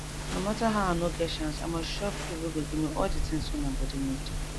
no matter how i nor get chance i mus chop food wey go give me all de tins wey my body need